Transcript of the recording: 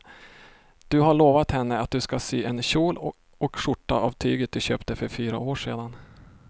Du har lovat henne att du ska sy en kjol och skjorta av tyget du köpte för fyra år sedan.